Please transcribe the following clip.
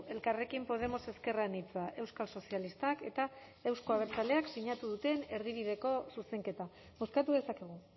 elkarrekin podemos ezker anitza euskal sozialistak eta euzko abertzaleek sinatu duten erdibideko zuzenketa bozkatu dezakegu